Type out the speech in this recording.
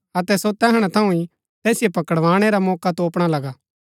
अतै सो तैहणा थऊँ ही तैसिओ पकड़ाणै रा मौका तोपणा लगा